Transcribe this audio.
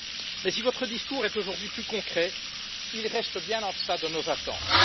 Mais si votre discours est aujourd'hui plus concret, il reste bien en deçà de nos attentes.